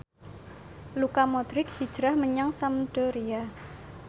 Luka Modric hijrah menyang Sampdoria